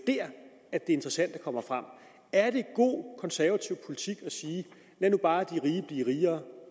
er interessante kommer frem er det god konservativ politik at sige lad nu bare de rige blive rigere